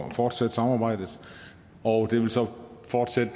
at fortsætte samarbejdet og det vil så fortsætte